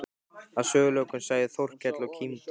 Að sögulokum sagði Þórkell og kímdi